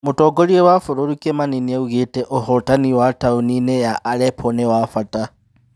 Mũtongoria wa bũrũri Kimani nĩaugĩte ũhotani taũni-inĩ ya Allepo nĩ wa bata